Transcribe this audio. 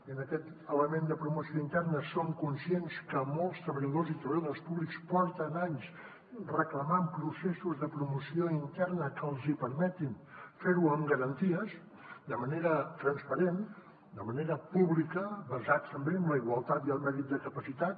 i en aquest element de promoció interna som conscients que molts treballadors i treballadores públics porten anys reclamant processos de promoció interna que els hi permetin fer ho amb garanties de manera transparent de manera pública basats també en la igualtat i el mèrit de capacitat